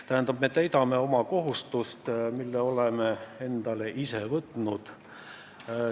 Tähendab, me täidame oma kohustust, mille oleme endale ise võtnud.